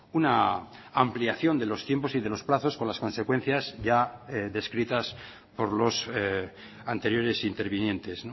una ampliación de los tiempos y de los plazos con las consecuencias ya descritas por los anteriores intervinientes